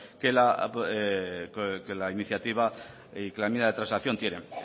que la iniciativa que la enmienda de transacción quiera